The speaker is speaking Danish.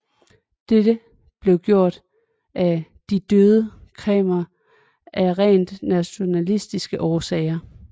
Dette blev gjort af De røde khmerer af rent nationalistiske årsager